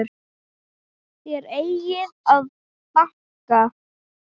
Þér eigið að banka!